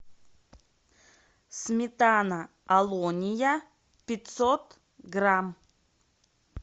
сметана алония пятьсот грамм